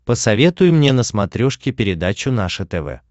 посоветуй мне на смотрешке передачу наше тв